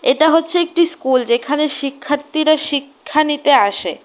এটা হচ্ছে একটি স্কুল যেখানে শিক্ষার্থীরা শিক্ষা নিতে আসে।